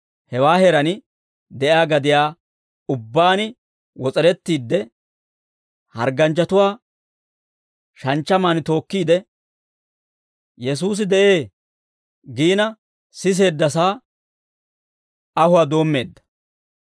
hewaa heeraan de'iyaa gadiyaa ubbaan wos'erettiide, hargganchchatuwaa shanchchamaan tookkiide, «Yesuusi de'ee» giina siseeddasaa ahuwaa doommeedda.